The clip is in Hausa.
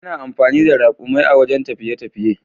Ana amfani da rakumi a wajen tafiye tafiye.